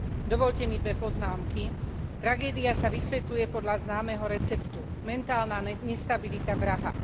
Dovoľte mi dve poznámky. Tragédia sa vysvetľuje podľa známeho receptu mentálna nestabilita vraha.